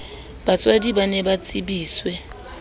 batswadi ba ne ba tsebiswe